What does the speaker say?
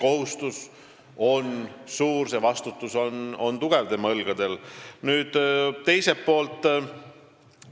See kohustus, see vastutus, mis on tema õlgadel, on suur.